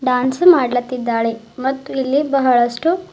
dance ಮಾಡ್ಲಾಕತಿದಾಳೆ ಮತ್ತು ಇಲ್ಲಿ ಬಹಳಷ್ಟು--